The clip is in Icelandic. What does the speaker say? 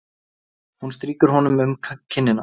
Hún strýkur honum um kinnina.